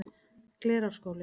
Glerárskóli